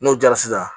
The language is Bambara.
N'o diyara sisan